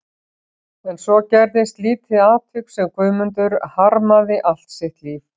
En svo gerðist lítið atvik sem Guðmundur harmaði allt sitt líf.